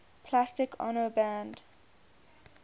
plastic ono band